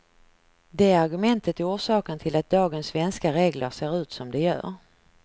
Det argumentet är orsaken till att dagens svenska regler ser ut som de gör.